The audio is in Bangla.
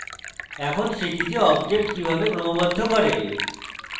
এখন শিখি যে objects কিভাবে ক্রমবদ্ধ করে